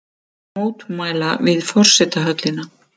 Mótmæla við forsetahöllina